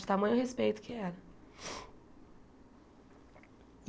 De tamanho respeito que era.